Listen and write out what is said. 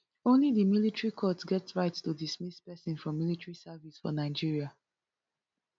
only di military court get right to dismiss pesin from military service for nigeria